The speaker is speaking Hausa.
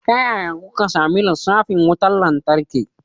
Ta yaya kuka sami lissafin wutar lantarki?